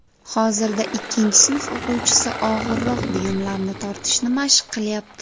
Hozirda ikkinchi sinf o‘quvchisi og‘irroq buyumlarni tortishni mashq qilyapti.